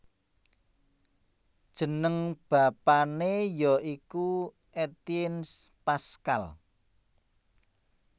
Jeneng bapané ya iku Étienne Pascal